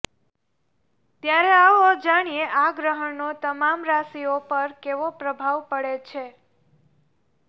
ત્યારે આવો જાણીએ આ ગ્રહણનો તમામ રાશિઓ પર કેવો પ્રભાવ પડે છે